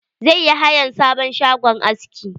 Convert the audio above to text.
Zai yi hayan sabon shagon aski.